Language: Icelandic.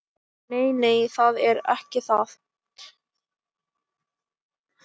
Nei, nei, það er ekki það.